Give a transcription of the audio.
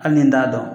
Hali ni n t'a dɔn